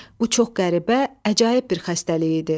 Bu çox qəribə, əcaib bir xəstəlik idi.